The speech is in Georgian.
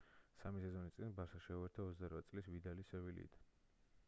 სამი სეზონის წინ ბარსას შეუერთდა 28 წლის ვიდალი სევილიიდან